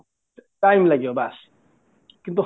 time ଲାଗିବ ବାସ କିନ୍ତୁ